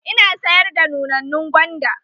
Ina sayar da nunannun gwanda na.